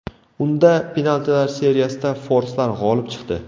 Unda penaltilar seriyasida forslar g‘olib chiqdi.